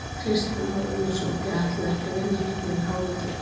Kristján Már Unnarsson: Þið ætlið ekki að vinna hérna yfir háveturinn?